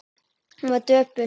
Hún var döpur.